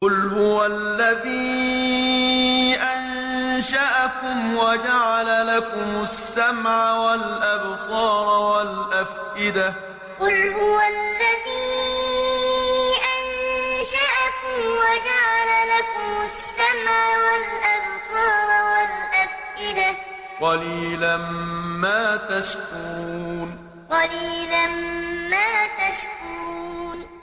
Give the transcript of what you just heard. قُلْ هُوَ الَّذِي أَنشَأَكُمْ وَجَعَلَ لَكُمُ السَّمْعَ وَالْأَبْصَارَ وَالْأَفْئِدَةَ ۖ قَلِيلًا مَّا تَشْكُرُونَ قُلْ هُوَ الَّذِي أَنشَأَكُمْ وَجَعَلَ لَكُمُ السَّمْعَ وَالْأَبْصَارَ وَالْأَفْئِدَةَ ۖ قَلِيلًا مَّا تَشْكُرُونَ